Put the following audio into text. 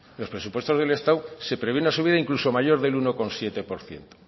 los presupuestos del estado se prevé una subida incluso mayor del uno coma siete por ciento